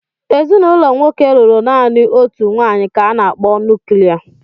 Ezinụlọ nwoke lụrụ naanị otu nwaanyị ka a na-akpọ nuklia.